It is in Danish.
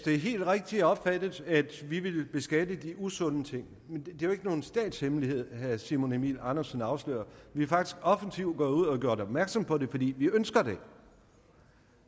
er helt rigtigt opfattet at vi vil beskatte de usunde ting men det er jo ikke nogen statshemmelighed herre simon emil ammitzbøll afslører vi er faktisk offensivt gået ud og har gjort opmærksom på det fordi vi ønsker det